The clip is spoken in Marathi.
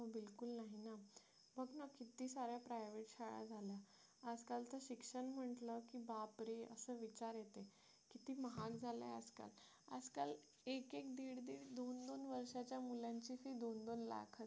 किती साऱ्या private शाळा झाल्या आजकाल तर शिक्षण म्हटलं की बापरे असा विचार येते किती महाग झाले आजकाल एकेक आजकाल एकेक दीड दोन दोन वर्षाच्या मुलांचे दोन लाख